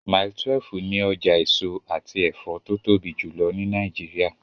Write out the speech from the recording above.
Mile 12 ni ọjà èso àti ẹ̀fọ́ tó tóbi jùlọ ní Nàìjíríà.